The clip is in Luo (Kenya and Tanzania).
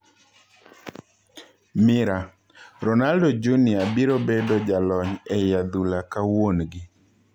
(Mirror) Ronaldo Jnr biro bedo jalony ei adhula ka wuongi.